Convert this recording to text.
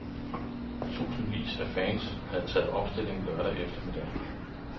Tusindvis af fans havde taget opstilling lørdag eftermiddag.